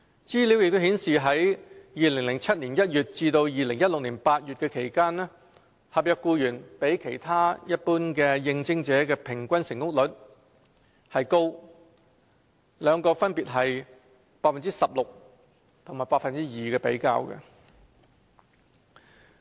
資料亦顯示在2007年1月至2016年8月期間，合約僱員比其他一般的應徵者的平均成功率高，兩個分別是 16% 和 2% 的比較。